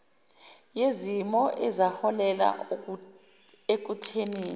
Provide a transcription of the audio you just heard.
yezimo ezaholela ekuthenini